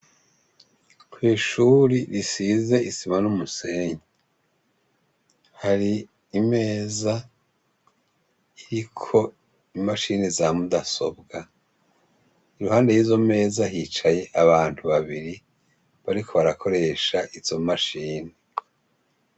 Kw'ishuri risize isima n'umusenyi, hari imeza iriko imashini za mudasobwa, iruhande y'izo meza hicaye abantu babiri bariko barakoresha izo mashini.